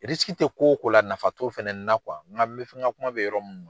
tɛ ko o ko la nafa t'o fana na n ka bɛ fɛn n ka kuma bɛ yɔrɔ min ma.